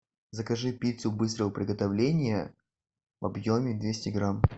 закажи пиццу быстрого приготовления в объеме двести грамм